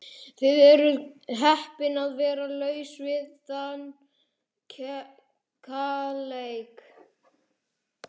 Þið eruð heppin að vera laus við þann kaleik.